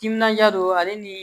Timinandiya don ale ni